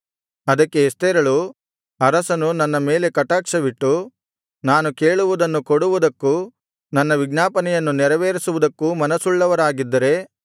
ಅದಕ್ಕೆ ಎಸ್ತೇರಳು ಅರಸನು ನನ್ನ ಮೇಲೆ ಕಟಾಕ್ಷವಿಟ್ಟು ನಾನು ಕೇಳುವುದನ್ನು ಕೊಡುವುದಕ್ಕೂ ನನ್ನ ವಿಜ್ಞಾಪನೆಯನ್ನು ನೆರವೇರಿಸುವುದಕ್ಕೂ ಮನಸ್ಸುಳ್ಳವರಾಗಿದ್ದರೆ